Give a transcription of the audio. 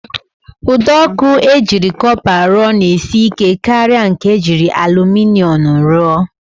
Ụdọọkụ e jiri kọpa rụọ na-esi ike karịa nke e jiri alụminịọm rụọ